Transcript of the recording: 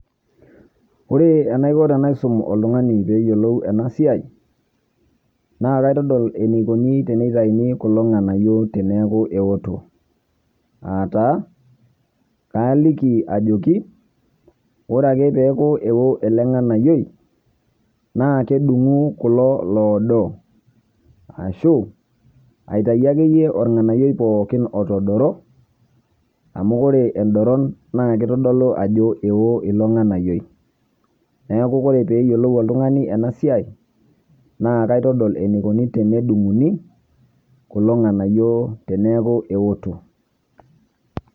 Ore enaiko tenaisum oltung'ani peyiolou enasiai, naa kaitadol enaikoni tenitauni kulo ng'anayio teneeku eoto. Ataa, kaliki ajoki, ore ake peeku eo ele ng'anayioi, naa kedung'u kulo loodo. Ashu, aitayu akeyie orng'anayioi pookin otodoro, amu ore edoron naa kitodolu ajo eo ilo ng'anayioi. Neeku ore peyiolou ilo tung'ani enasiai, naa kaitadol enikoni tenedung'uni, kulo ng'anayio teneeku eoto.